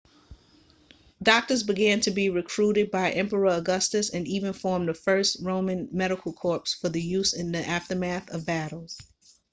doctors began to be recruited by emperor augustus and even formed the first roman medical corps for use in the aftermath of battles